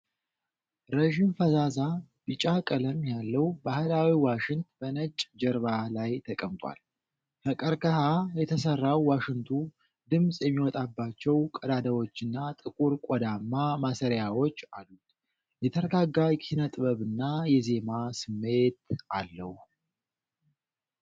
ረዥም፣ ፈዛዛ ቢጫ ቀለም ያለው ባህላዊ ዋሽንት በነጭ ጀርባ ላይ ተቀምጧል። ከቀርከሃ የተሰራው ዋሽንቱ ድምፅ የሚወጣባቸው ቀዳዳዎችና ጥቁር ቆዳማ ማሰሪያዎች አሉት። የተረጋጋ የኪነጥበብና የዜማ ስሜት አለው።